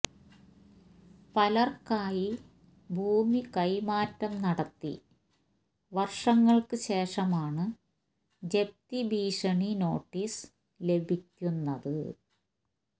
പലർക്കായി ഭൂമി കൈമാറ്റം നടത്തി വർഷങ്ങൾക്ക് ശേഷമാണ് ജപ്തി ഭീഷണി നോട്ടീസ് ലഭിക്കുന്നത്